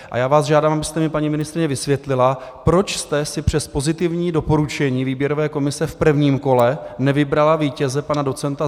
A já vás žádám, abyste mi, paní ministryně, vysvětlila, proč jste si přes pozitivní doporučení výběrové komise v prvním kole nevybrala vítěze pana doc.